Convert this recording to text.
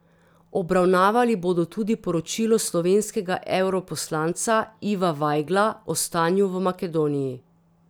Obravnavali bodo tudi poročilo slovenskega evroposlanca Iva Vajgla o stanju v Makedoniji.